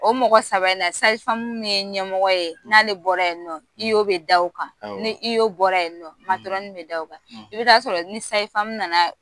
O mɔgɔ saba i'na min ye ɲɛmɔgɔ ye n' ale bɔra ye nɔ; bɛ d'o kan; Awɔ; ni bɔra yen nɔ; ; matɔrɔni bɛ da o kan; i bɛ ta sɔrɔ ni sayifamu nana